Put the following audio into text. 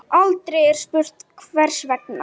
Aldrei er spurt hvers vegna.